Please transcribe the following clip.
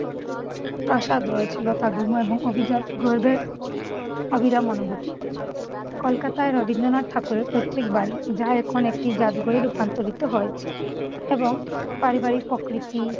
প্রাসাদ রয়েছে। লতাগুল্ম এবং অভিজাত গোলবের অবিরাম অনুভূতি। কলকাতায় রবীন্দ্রনাথ ঠাকুরের পৈতৃকবাড়ি যা এখন একটি জাদুঘরে রূপান্তরিত হয়েছে এবং পারিবারিক প্রকৃতি